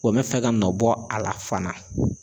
O bɛ fɛ ka nɔ bɔ a la fana.